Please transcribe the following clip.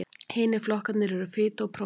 hinir flokkarnir eru fita og prótín